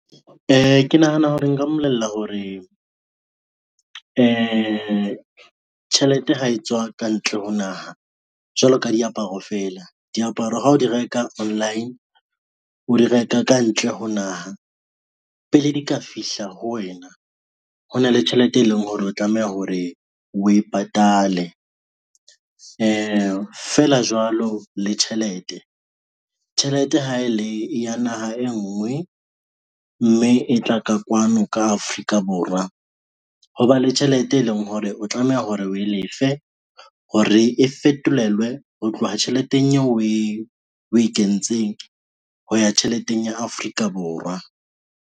Ke nahana hore nka mmolella hore tjhelete ha e tswa kantle ho naha jwalo ka diaparo fela, diaparo ha o di reka online, o di reka kantle ho naha, pele di ka fihla ho wena ho na le tjhelete e leng hore o tlameha hore o e patale feela jwalo le tjhelete. Tjhelete ha e le ya naha e ngwe mme e tla ka kwano ka Afrika Borwa, ho ba le tjhelete e leng hore o tlameha hore we lefe hore e fetolelwe ho tloha tjheleteng eo we kentseng ho ya tjheleteng ya Afrika Borwa.